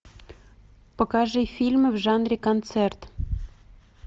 покажи фильмы в жанре концерт